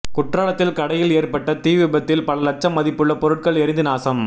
குற்றாலத்தில் கடையில் ஏற்பட்ட தீ விபத்தில் பல லட்சம் மதிப்புள்ள பொருட்கள் எரிந்து நாசம்